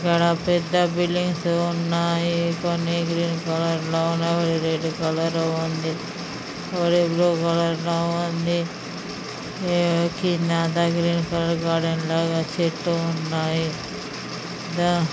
ఉన్నాయి కొన్ని green colour లో ఉన్నాయి. రెడ్ కలర్ లో ఉంది. ఒకటి బ్లూ కలర్ లో ఉంది. కిందంత గ్రీన్ కలర్ గార్డెన్ లాగా చెట్లు ఉన్నాయి.